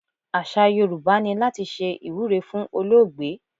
Àṣà Yorùbá ni láti ṣe ìwúre fún olóògbé.